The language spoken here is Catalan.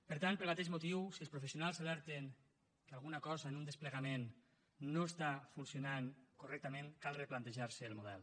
per tant pel mateix motiu si els professionals alerten que alguna cosa en un desplegament no està funcionant correctament cal replantejar se el model